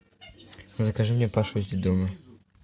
закажи мне пашу из детдома